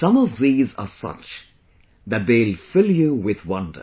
Some of these are such that they will fill you with wonder